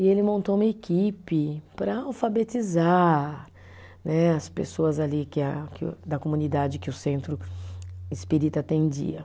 E ele montou uma equipe para alfabetizar né, as pessoas ali que a, que o, da comunidade que o Centro Espírita atendia.